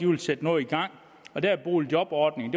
vil sætte noget i gang og der er boligjobordningen